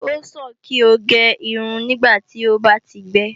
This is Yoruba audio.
O sàn kí o gé irun nígbàtí ó bá ti gbẹ